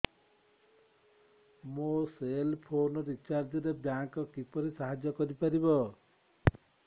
ମୋ cell phone recharge ରେ bank କିପରି ସାହାଯ୍ୟ କରିପାରିବ